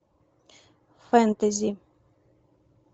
фэнтези